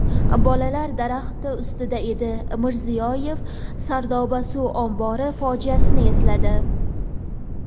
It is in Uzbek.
bolalar daraxt ustida edi – Mirziyoyev Sardoba suv ombori fojiasini esladi.